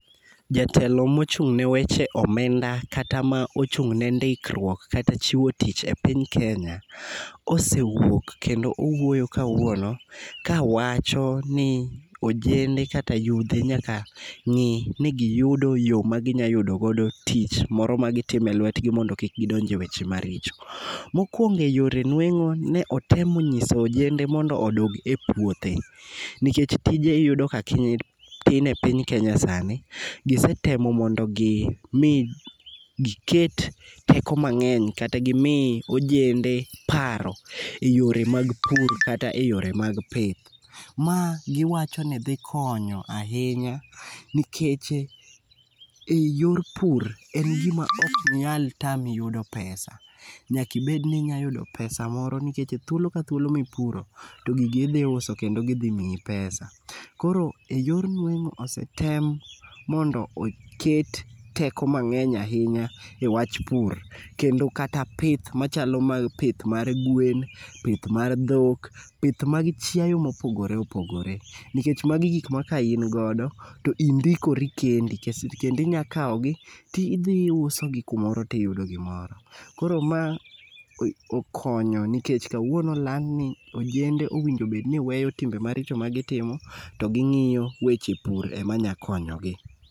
Jatelo mochung'ne weche omenda kata ma ochung'ne ndikruok kata chiwo tich e piny kenya, osewuok kendo owuoyo kawuono, kawacho ni ojende kata yudhe nyaka ng'ini giyudo yo maginya yudo godo tich moro magitimo e lwetgi ,mondo kik gidonj e yore maricho. Mokwongo e yore nweng'o ,ne otemo nyiso ojende mondo odog e puothe, nikech tije iyudo ka tin e piny Kenya sani. Gisetemo mondo giket teko mang'eny kata gimi ojende paro e yore mag pur kata e yore mag pith. Ma giwacho ni dhi konyo ahinya nikech e yor pur, en gima ok nyal tami yudo pesa. Nyaka ibed ni inya yudo pesa moro nikech thuolo ka thuolo mipuro, to gigi idhi uso kendo gidhi miyi pesa. Koro e yor nweng'o osetem mondo oket teko mang'eny ahinya e wach pur, kendo kata pith machalo pith mar gwen, pith mar dhok ,pith mag chiemo mopogore opogore nikech magi gik ma ka in godo, to indikori kendi, kendo inya kawogi tidhi iusogi kumoro tiyudo gimoro. Koro ma okonyo nikech kawuono olandni ojende owinjo obedni weyo timbe maricho magitimo, to ging'iyo weche pur ema nya konyogi.